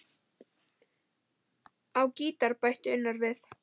Á gítar bætir Unnar við.